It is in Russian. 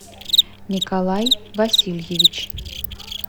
николай васильевич